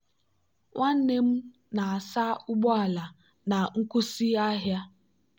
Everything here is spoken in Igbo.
nwa nwanne m na-asa ụgbọ ala na nkwụsị ahịa.